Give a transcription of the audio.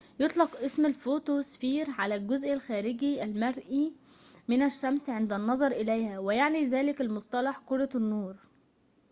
يطلق اسم الفوتو سفير على الجزء الخارجي المرئي من الشمس عند النظر إليها ويعني ذلك المصطلح كرة النور